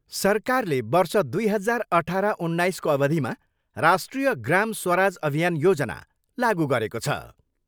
सरकारले वर्ष दुई हजार अठार उन्नाइसको अवधिमा राष्ट्रिय ग्राम स्वराज अभियान योजना लागु गरेको छ।